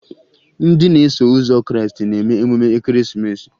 Ndị na-eso ụzọ Krịịstị na-eme emume Ekeresimeesi